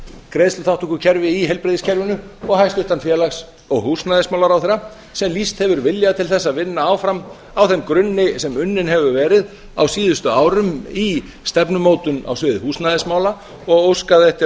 greiðsluþátttökukerfi í heilbrigðiskerfinu og hæstvirtan félags og húsnæðismálaráðherra sem lýst hefur vilja til þess að vinna áfram á þeim grunni sem unninn hefur verið á síðustu árum í stefnumótun á sviði húsnæðismála og óskað eftir